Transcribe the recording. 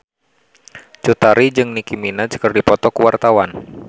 Cut Tari jeung Nicky Minaj keur dipoto ku wartawan